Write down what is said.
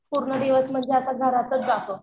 पूर्ण दिवस म्हणजे असा घरातच जातो.